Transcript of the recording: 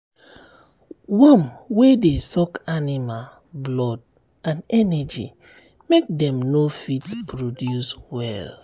worm wer dey suck animal um blood and energy make dem no fit produce well.